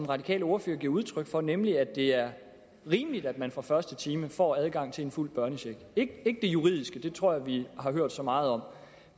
radikale ordfører giver udtryk for nemlig at det er rimeligt at man fra første time får adgang til en fuld børnecheck ikke det juridiske det tror jeg vi har hørt så meget om